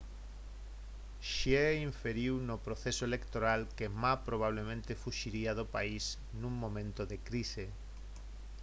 hsieh inferiu no proceso electoral que ma probablemente fuxiría do país nun momento de crise